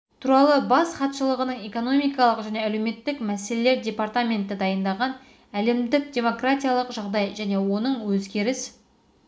туралы бас хатшылығының экономикалық және әлеуметтік мәселелер департаменті дайындаған әлемдік демократиялық жағдай және оның өзгеріс